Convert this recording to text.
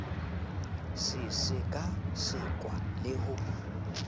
se seka sekwa le ho